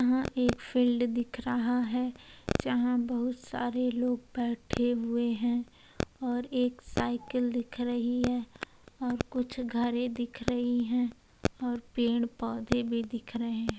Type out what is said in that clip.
यहाँ एक फील्ड दिख रहा है। जहाँ बहुत सारे लोग बैठे हुए है। और एक साइकिल दिख रही है। और कुछ घरे दिख रही हैं और पेड़ पौधे भी दिख रहे --